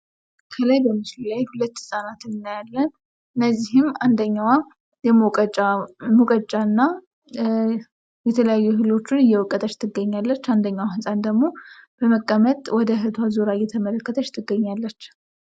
ከላይ በምስሉ ላይ ሁለት ህፃናትን እናያለን። ከነዚህም አንደኛዋ የመውቀጫ ሙቀጫ እና የተለያዩ እህሎችን እየወቀጠች ትገኛለች። አንደኛዋ ህፃን ደግሞ በመቀመጥ ወደ ዙራ እየተመለከተች ትገኛለች።